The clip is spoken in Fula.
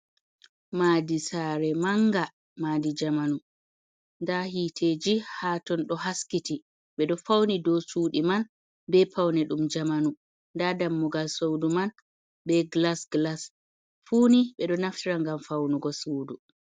Maadi saare mannga maadi jamanu, nda hiteeji haa ton ɗo haskiti, ɓe ɗo fawni dow cuuɗi man bee pawne ɗum jamanu, nda dammugal suudu man bee gilas-gilas, fuu ni ɓe ɗo naftira ngam fawnugo suudu.